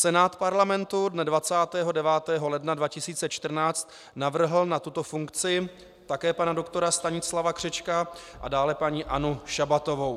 Senát Parlamentu dne 29. ledna 2014 navrhl na tuto funkci také pana doktora Stanislava Křečka a dále paní Annu Šabatovou.